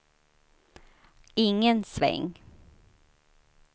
ingen sväng